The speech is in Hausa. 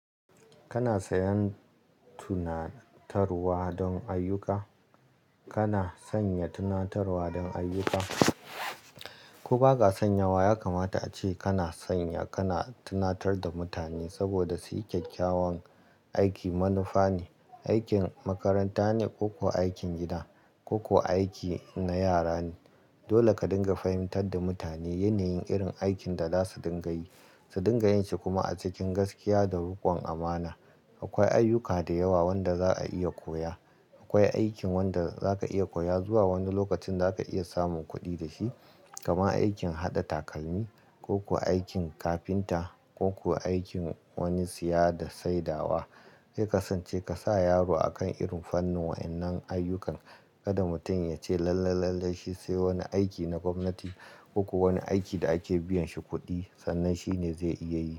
Kana sayen tunatarwa don ayyuka. Kana sanya tunatarwa don ayyuka. Ko ba ka san yawa, ya kamata ace kana sanya, kana tunatar da mutane saboda su yi kyakkyawan aiki. Manufa ne, aikin makaranta ne, ko kuwa aikin gida, ko kuwa aiki na yara ne. Dole ka dinga fahimtar da mutane yanayin irin aikin da za su dinga yi, su dinga yin shi kuma a cikin gaskiya da rukon amana. Akwai ayyuka da yawa wanda za a iya koya. Akwai aikin wanda za ka iya koya zuwa wani lokacin za ka iya samun kuɗi da shi. Kama aikin haɗa takalmi, ko kuwa aikin kafinta, ko kuwa aikin wani siyaya da saidawa. Ki kasance ka sa yaro a kan irin fannin waɗannan ayyukan. Kada mutum ya ce lallai, lallai shi sai wani aiki na gwamnati, ko kuwa wani aiki da ake biyan shi kuɗi sannan shi ne zai iya yi.